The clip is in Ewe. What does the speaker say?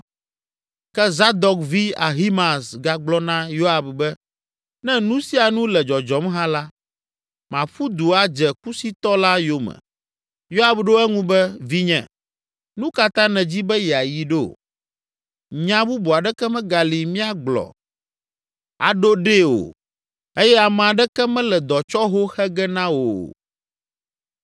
Ke Zadok vi Ahimaaz gagblɔ na Yoab be, “Ne nu sia nu le dzɔdzɔm hã la, maƒu du adze Kusitɔ la yome.” Yoab ɖo eŋu be, “Vinye, nu ka ta nèdzi be yeayi ɖo? Nya bubu aɖeke megali míagblɔ aɖo ɖe o eye ame aɖeke mele dɔtsɔho xe ge na wò o.”